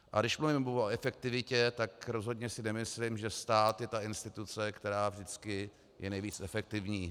A když mluvím o efektivitě, tak rozhodně si nemyslím, že stát je ta instituce, která vždycky je nejvíc efektivní.